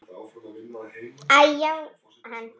Æ-já, hann.